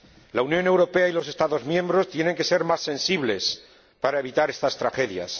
La Unión Europea y los Estados miembros tienen que ser más sensibles para evitar estas tragedias.